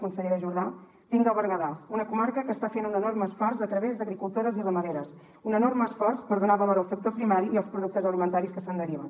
consellera jordà vinc del berguedà una comarca que està fent un enorme esforç a través d’agricultores i ramaderes un enorme esforç per donar valor al sector primari i els productes alimentaris que se’n deriven